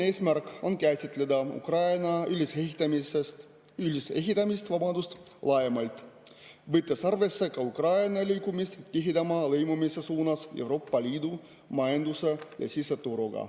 Eesmärk on käsitleda Ukraina ülesehitamist laiemalt, võttes arvesse ka Ukraina liikumist tihedama lõimumise suunas Euroopa Liidu majanduse ja siseturuga.